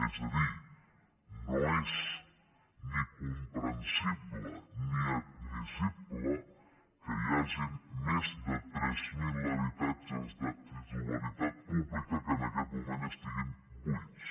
és a dir no és ni comprensible ni admissible que hi hagin més de tres mil habitatges de titularitat pública que en aquest moment estiguin buits